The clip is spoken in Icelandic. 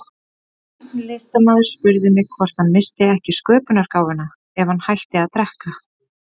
Einn listamaður spurði mig hvort hann missti ekki sköpunargáfuna ef hann hætti að drekka.